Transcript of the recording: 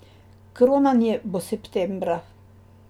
Kronanje bo septembra.